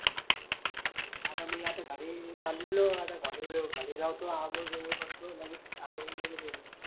आता मी आते का रे चाललेलो घडी लो घरी जातो आंगोळ गिंगळ करतो.